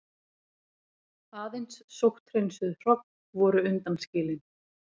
Aðeins sótthreinsuð hrogn voru undanskilin.